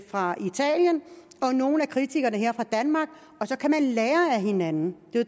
fra italien og nogle af kritikerne her i danmark så kan de lære af hinanden